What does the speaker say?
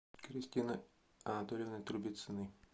кристины анатольевны трубицыной